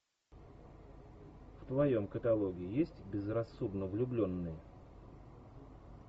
в твоем каталоге есть безрассудно влюбленные